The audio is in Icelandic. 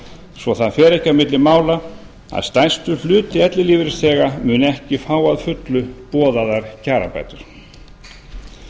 svo það fer ekki á milli mála að stærstur hluti ellilífeyrisþega mun ekki fá að fullu boðaðar kjarabætur nauðsynlegt